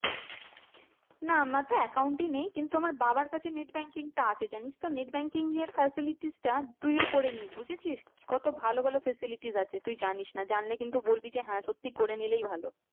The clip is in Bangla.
না আমার তো account ই নেই কিন্তু আমার বাবার কাছে net banking টা আছে জানিস তো net banking এর facilities টা তুইও করেনিস বুঝেছিস। কত ভালো ভালো facilities আছে তুই জানিস না জানলে কিন্তু বলবি যে হ্যাঁ করে নিলেই ভালো।